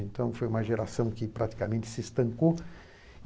Então, foi uma geração que praticamente se estancou.